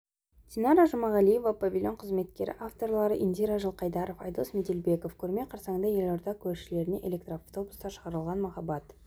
динара жұмағалиева павильон қызметкері авторлары индира жылқайдарова айдос меделбеков көрме қарсаңында елорда көшелеріне электроавтобустар шығарылған махаббат